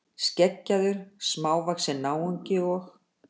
Skeggjaður, smávaxinn náungi og.